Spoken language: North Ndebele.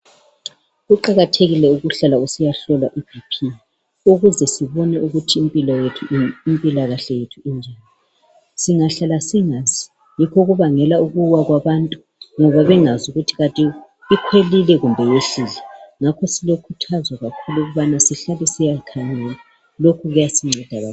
Kuqakathekile ukuhlala usiyahlolwa ibp ukuze sibone ukuthi impilakahle yethu injani. Singahlala singazi yikho okubangela ukuwa kwabantu ngoba, bengazi ukuthi kanti ikhwelile kumbe yehlile, ngakho silokhuthazo kakhulu ukubana sihlale sisiyakhangela lokhu kuyasinceda kakhulu.